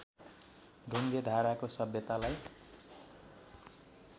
ढुङ्गे धाराको सभ्यतालाई